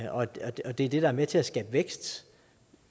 og at at det er det der er med til at skabe vækst